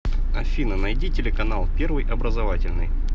афина найди телеканал первый образовательный